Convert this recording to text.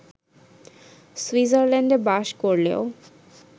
সুইজারল্যান্ডে বাস করলেও